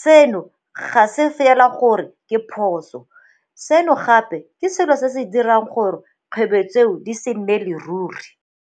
seno ga se fela gore ke phoso, seno gape ke selo se se tla dirang gore 'kgwebo tseo di se nnele ruri.